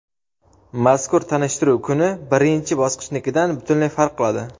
mazkur tanishtiruv kuni birinchi bosqichnikidan butunlay farq qiladi.